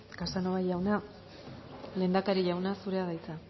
casanova jauna lehendakari jauna zurea da hitza